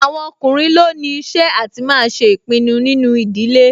Àwọn ọkùnrin ló ní iṣẹ́ àti máa ṣe ìpinnu nínú ìdílé